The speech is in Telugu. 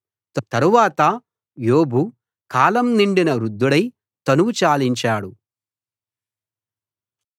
తరువాత యోబు కాలం నిండిన వృద్ధుడై తనువు చాలించాడు